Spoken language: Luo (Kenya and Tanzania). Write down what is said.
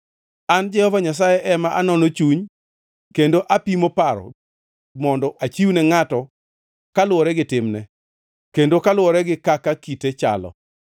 “An Jehova Nyasaye ema anono chuny kendo apimo paro, mondo achiwne ngʼato kaluwore gi timne, kendo kaluwore gi kaka kite chalo.”